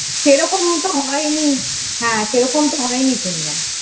খুব ভালো লাগছেনা। সেরকম একটা হয়নি। হ্যাঁ, সেরকমটা হয়নি শুনলাম।